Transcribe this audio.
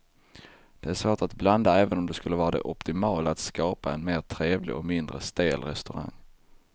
Det är svårt att blanda även om det skulle vara det optimala att skapa en mer trevlig och mindre stel restaurang.